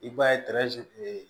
I b'a ye kun ye